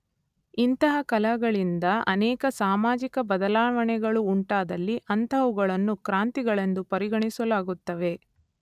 ಇಂತಹ ಕಲಹಗಳಿಂದ ಅನೇಕ ಸಾಮಾಜಿಕ ಬದಲಾವಣೆಗಳು ಉಂಟಾದಲ್ಲಿ ಅಂತಹವುಗಳನ್ನು ಕ್ರಾಂತಿಗಳೆಂದು ಪರಿಗಣಿಸಲಾಗುತ್ತವೆ.